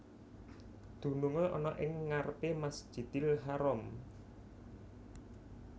Dunungé ana ing ngarepé Masjidil Haram